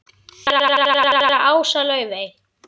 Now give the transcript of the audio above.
Séra Ása Laufey.